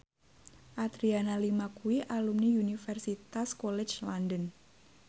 Adriana Lima kuwi alumni Universitas College London